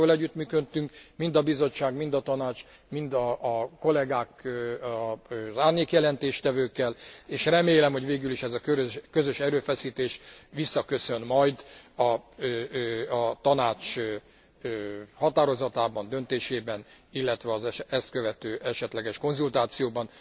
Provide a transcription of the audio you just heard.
Valóban jól együttműködtünk, mind a Bizottság, mind a Tanács, mind a kollegák az árnyékjelentéstevőkkel, és remélem, hogy végül is ez a közös erőfeszítés visszaköszön majd a Tanács határozatában, döntésében, illetve az ezt követő esetleges konzultációban.